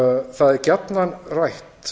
það er gjarnan rætt